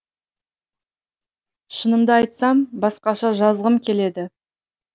шынымды айтсам басқаша жазғым келеді